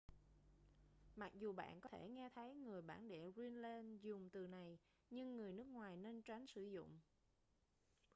mặc dù bạn có thể nghe thấy người bản địa greenland dùng từ này nhưng người nước ngoài nên tránh sử dụng